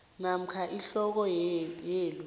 namkha ihloko yelu